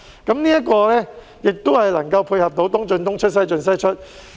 這安排也可以配合"東進東出、西進西出"。